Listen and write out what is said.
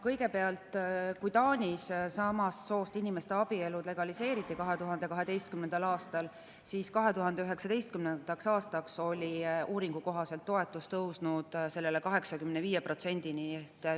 Kõigepealt, kui Taanis samast soost inimeste abielud legaliseeriti 2012. aastal, siis 2019. aastaks oli uuringu kohaselt toetus sellele tõusnud 85%‑le.